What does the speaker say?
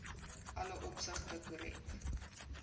alle opsigte korrek